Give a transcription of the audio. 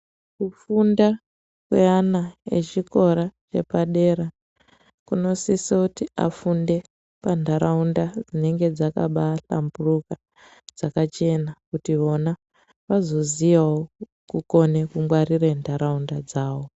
Kufunda kweana echikora kwepadera, kunosiseuti afunde pantaraunda dzinenge dzakabaahlamburuka, dzakachena, kuti vona vazoziyawo kukone kungwarire ntataunda dzavo.